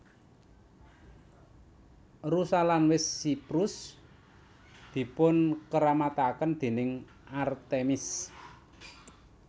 Rusa lan wit siprus dipunkeramataken déning Artemis